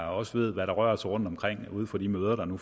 også ved hvad der rører sig rundtomkring ude på de møder der nu